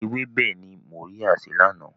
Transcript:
Ewébẹ̀ ni Mọ́ríá sè lánàá.